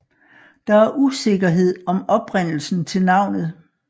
Der er usikkerhed om oprindelsen til navnet